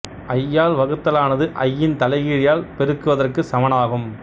ஐ ஆல் வகுத்தலானது ஐ இன் தலைகீழியால் பெருக்குவதற்குச் சமனாகும்